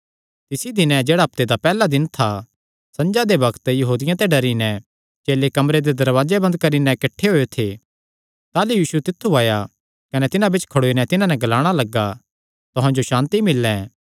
तिसी दिने जेह्ड़ा हफ्ते दा पैहल्ला दिन था संझा दे बग्त यहूदियां ते डरी नैं चेले कमरे दे दरवाजे बंद करी नैं किठ्ठे होएयो थे ताह़लू यीशु तित्थु आया कने तिन्हां बिच्च खड़ोई नैं तिन्हां नैं ग्लाणा लग्गा तुहां जो सांति मिल्ले